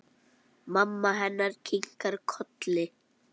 Mamma hennar kinkar kolli.